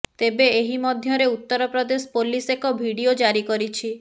ତେବେ ଏହି ମଧ୍ୟରେ ଉତ୍ତର ପ୍ରଦେଶ ପୋଲିସ ଏକ ଭିଡିଓ ଜାରି କରିଛି